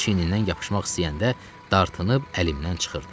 Hər dəfə çiynindən yapışmaq istəyəndə dartınıb əlimdən çıxırdı.